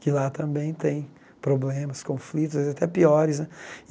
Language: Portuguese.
Que lá também tem problemas, conflitos, às vezes até piores, né?